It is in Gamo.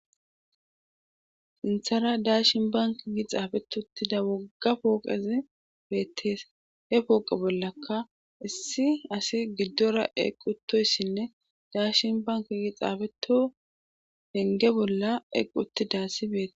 inthara daashin bank gi xaabeto uttida wogga pooqezi beettees he pooqe bollaka issi asi giddora equtoyssinne daashin bank gi xaabeto henge bolla equtidassi beette